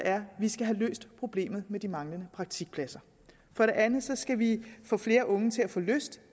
skal vi have løst problemet med de manglende praktikpladser for det andet skal vi få flere unge til at få lyst